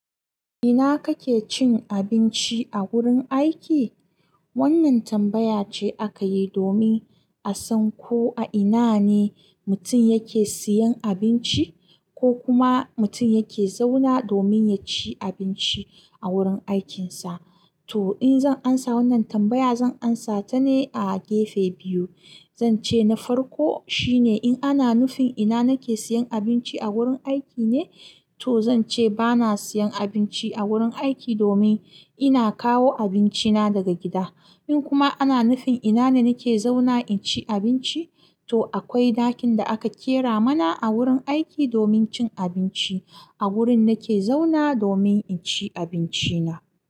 Ina kake cin abinci a wurin aiki? Wannan tambaya ce aka yi domin a san ko a ina ne mutum yake siyan abinci ko kuma mutum yake zauna domin ya ci abinci a wurin aikinsa. To, in zan amsa wannan tambaya, zan amsa ta ne a gefe biyu. Zan ce na farko shine in ana nufin ina nake siyan abinci a wurin aiki ne, to zan ce ba na siyan abinci a wurin aiki domin ina kawo abinci na daga gida. In kuma ana nufin ina ne nake zauna in ci abinci, to akwai ɗakin da aka ƙera mana a wurin aiki domin cin abinci a wurin nake zauna domin in ci abinci na.